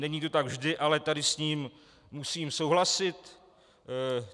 Není to tak vždy, ale tady s ním musím souhlasit.